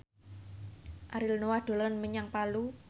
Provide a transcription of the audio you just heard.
Ariel Noah dolan menyang Palu